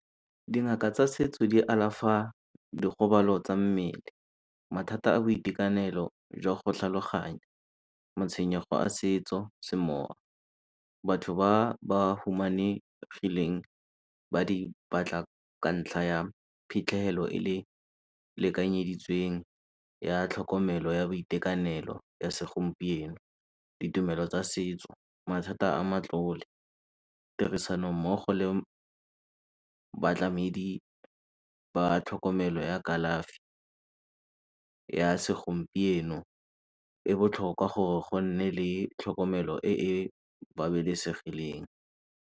Dingaka tsa setso di alafa dikgobalo tsa mmele, mathata a boitekanelo jwa go tlhaloganya, matshwenyego a setso, semowa. Batho ba ba humanegileng ba di batla ka ntlha ya phitlhegelo e le lekanyeditsweng ya tlhokomelo ya boitekanelo ya segompieno, ditumelo tsa setso, mathata a matlole. Tirisanommogo le batlamedi ba tlhokomelo ya kalafi ya segompieno e botlhokwa gore go nne le tlhokomelo e e babalesegileng.